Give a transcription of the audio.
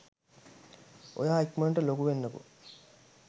ඔයා ඉක්මනට ලොකු වෙන්නකෝ'